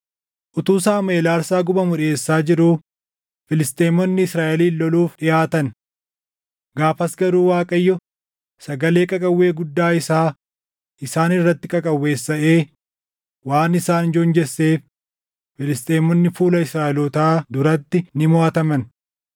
Utuu Saamuʼeel aarsaa gubamu dhiʼeessaa jiruu Filisxeemonni Israaʼelin loluuf dhiʼaatan. Gaafas garuu Waaqayyo sagalee qaqawwee guddaa isaa isaan irratti qaqawweessaʼee waan isaan joonjesseef Filisxeemonni fuula Israaʼelootaa duratti ni moʼataman.